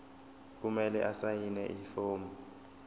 kumele asayine ifomu